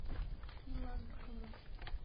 иланскому